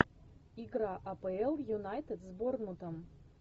игра апл юнайтед с борнмутом